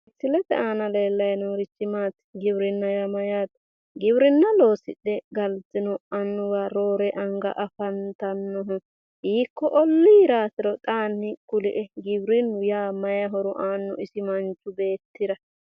Misilete aana leellanni noorichi Maati? Giwirinna yaa mayyaate? Giwirinna loosidhe galtino annuwa roore anga afantannohu hiiko olliiraatiro xaani kulie? Giwirinnu yaa mayi horo aanno isi manchi beettira?